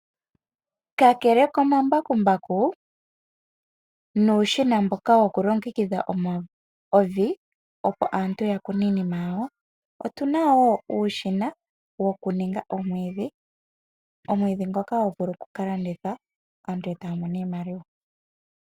Kakele komambakumbaku, nuushiina mboka wokulongekidha evi opo aantu ya vule okukuna iinima yawo, otu na wo uushina wokugongela omwiidhi ngoka hagu vulu okukalandithwa, aantu eta ya mono mo iimaliwa.